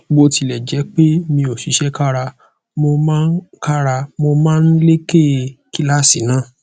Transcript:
bó tilẹ jẹ pé mi ò ṣiṣẹ kára mo máa kára mo máa ń leké kíláàsì náà